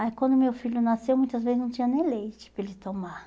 Aí quando meu filho nasceu, muitas vezes não tinha nem leite para ele tomar.